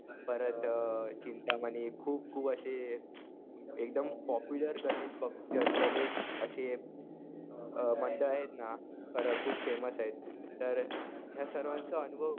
परत चिंतामणी खूप खूप असे एकदम पॉप्युलर गणेशभक्त, गणेश असे मंडळ आहेत ना, खरं खूप फेमस आहेत. तर ह्या सर्वांचा अनुभव